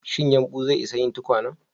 Shin yumɓu zai isa yin tukwanen?